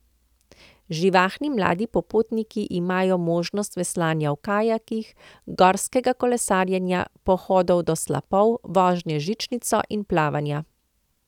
Živahni mladi popotniki imajo možnost veslanja v kajakih, gorskega kolesarjenja, pohodov do slapov, vožnje z žičnico in plavanja.